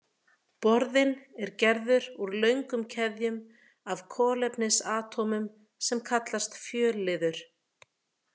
Borðinn er gerður úr löngum keðjum af kolefnisatómum sem kallast fjölliður.